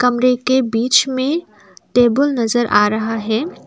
कमरे के बीच में टेबल नजर आ रहा है।